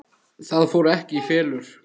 Það fór ekki í felur.